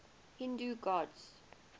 hindu gods